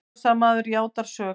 Árásarmaðurinn játaði sök